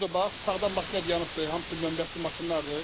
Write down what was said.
Bu da bax, sağdan maşın dayanıbdır, hamısı nömrəsi maşınlardır.